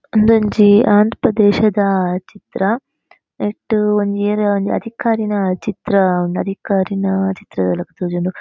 ಇಂದು ಒಂಜಿ ಆಂ ಪ್ರದೇಶದ ಚಿತ್ರ ನೆಟ್ ಒಂಜಿ ಏರಾ ಒಂಜಿ ಅಧಿಕಾರಿನ ಚಿತ್ರ ಉಂಡು ಅಧಿಕಾರಿನ ಚಿತ್ರದ ಲೆಕ ತೋಜುಂಡು.